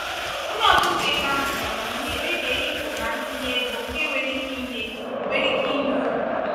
onye ọchụnta ego ahụ ji amamihe kpebie ịpụ na ntinye ego nke nwere ike inye nwere ike inye uru.